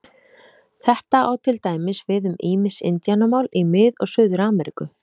Þetta á til dæmis við um ýmis indíánamál í Mið- og Suður-Ameríku.